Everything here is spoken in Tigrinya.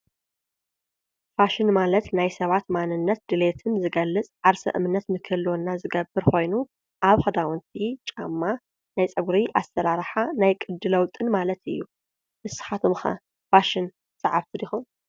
ፋሽን ናይ ሰባት ማንነት ድሌትን ዝገልፅ ዓርሰ እምነትንክህልወና ዝገብር ኮይኑ አብ ክዳን ጫማ ናይ ፀጉሪ አሰራርሓ ናይ ቅዲ ለዉጢ ማለት እዪ ንስኹም ከ ፋሽን ሰዓብቲ ዲኹም?